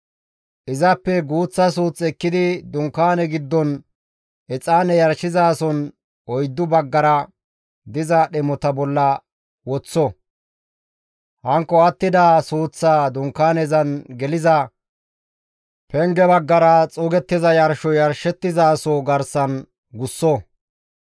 Izappe guuththa suuth ekkidi Dunkaaneza giddon exaane yarshizasozan oyddu baggara diza dhemota bolla woththo; hankko attida suuththaa dunkaanezan geliza penge baggara xuugettiza yarshoy yarshettizaso garsan gusso.